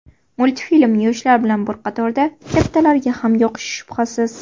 Multfilm yoshlar bilan bir qatorda kattalarga ham yoqishi shubhasiz.